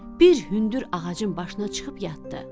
bir hündür ağacın başına çıxıb yatdı.